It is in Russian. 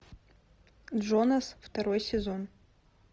джонас второй сезон